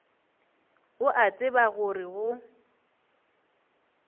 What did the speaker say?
o a tseba gore go